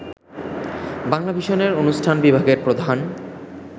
বাংলাভিশনের অনুষ্ঠান বিভাগের প্রধান